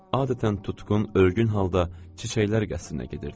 Adətən tutqun, örgün halda çiçəklər qəsrinə gedirdim.